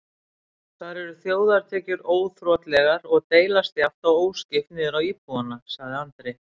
Þar eru þjóðartekjur óþrotlegar og deilast jafnt og óskipt niður á íbúana, sagði Andri.